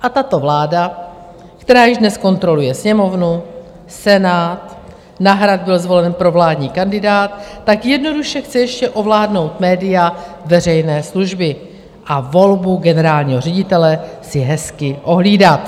A tato vláda, která již dnes kontroluje Sněmovnu, Senát, na Hrad byl zvolen provládní kandidát, tak jednoduše chce ještě ovládnout média veřejné služby a volbu generálního ředitele si hezky ohlídat.